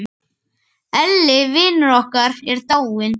Elli vinur okkar er dáinn.